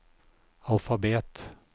alfabet